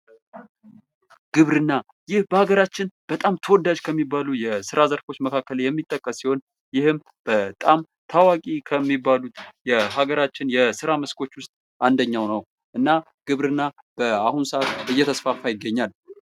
ግብርና ይህ በሀገራችን በጣም ተወዳጅ ከሚባሉ የስራ ዘርፎች መካከል የሚጠቀስ ሲሆን ይህም በጣም ታዋቂ ከሚባሉት የሀገራችን የስራ መስኮች ውስጥ አንደኛው ነው። እና ግብርና በአሁኑ ሰአት እየተስፋፋ ይገኛል።